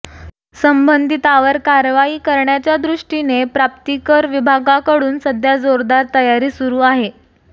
संबंधितांवर कारवाई करण्याच्यादृष्टीने प्राप्तिकर विभागाकडून सध्या जोरदार तयारी सुरू आहे